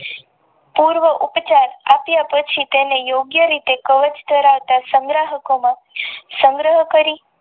પૂર્વ ઉપચાર અટાયટેક્ષીકા યોગ્ય રીતે કવચ ધરાવતા સંગ્રાહકોમાં સંગ્રહો કરી